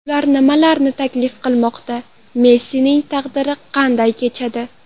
Ular nimalarni taklif qilinmoqda, Messining taqdiri qanday kechadi?